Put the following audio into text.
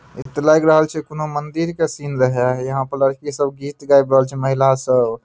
इ ते लग रहल छै कोनों मंदिर के सीन रहे यहाँ पर लड़की सब गीत गाइब रहल छै महिला सब।